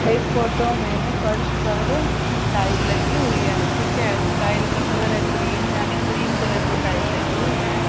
इस फोटो में फर्श पर टाइल लगी हुई हैं ठीक है टाइल का कलर क्रीम यानी क्रीम कलर की टाइल लगी हुई हैं।